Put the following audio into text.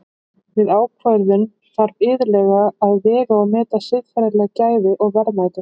Við ákvörðun þarf iðulega að vega og meta siðferðileg gæði og verðmæti.